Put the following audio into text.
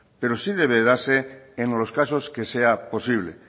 pero sí debe de darse en los casos que sea posible